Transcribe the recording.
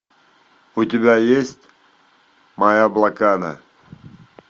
у тебя есть моя блокада